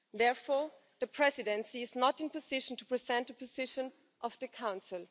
Therefore, the Presidency is not in a position to present a position of the Council.